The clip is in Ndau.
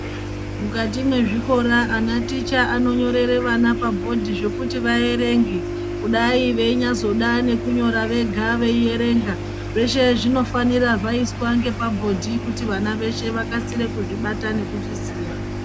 Mukati mezvikora anaticha anonyorera ana pabhodhi zvekuti averenge. Kudai veinyazoda nekunyora vega vanonga veiverenga zveshe zvinofanira kunge zvaiswa ngepabhodhi kuitira kuti vana veshe vakasire kuzvibata nekuzviziya.